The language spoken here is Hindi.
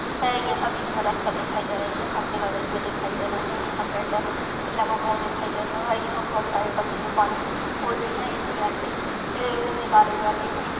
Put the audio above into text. यहाँ बिच में रास्ता दिखाई दे रही है खम्बे गड़े हुए दिखाई दे रहे है यहाँ टेंडर लगे हुए दिखाई दे रहा है यहाँ बहुत सारे पक्छी पालन होती है इनके अंडे निकाले जाते है। इन --